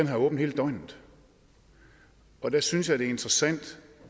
har åbent hele døgnet og der synes jeg det er interessant